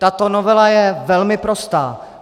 Tato novela je velmi prostá.